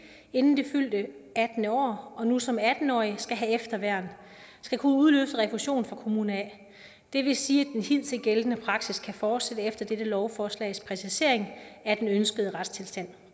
inden det fyldte attende år og nu som atten årig skal have efterværn og skal kunne udløse refusion fra kommune a det vil sige at den hidtil gældende praksis kan fortsætte efter dette lovforslags præcisering af den ønskede retstilstand